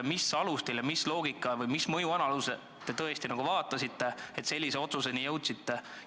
Millise loogika või millise mõjuanalüüsi põhjal te sellise otsuseni jõudsite?